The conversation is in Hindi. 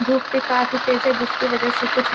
धुप भी काफ़ी तेज है जिस के वजह से कुछ ल --